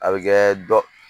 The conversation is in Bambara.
A bɛ kɛ dɔ